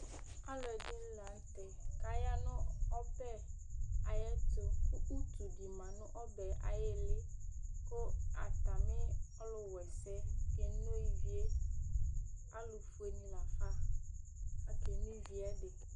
Alʋɛdìní la ntɛ kʋ aya nʋ ɔbɛ ayʋ ɛtu kʋ ʋtu di ma nʋ ɔbɛ ayʋ ìlí kʋ atami ɔlu wa ɛsɛ keno ívì ye Alu fʋe ni lafa ake no ívì ye